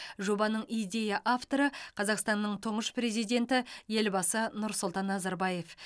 жобаның идея авторы қазақстанның тұңғыш президенті елбасы нұрсұлтан назарбаев